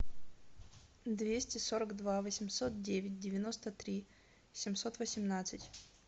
двести сорок два восемьсот девять девяносто три семьсот восемнадцать